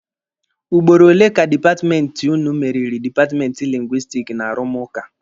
Ugboro ole ka dipatmenti ụnụ meriri dipatmenti Lingwisitiki n'arụmụka.